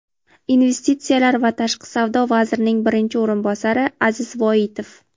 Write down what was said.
investitsiyalar va tashqi savdo vazirining birinchi o‘rinbosari Aziz Voitov,.